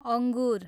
अङ्गु्र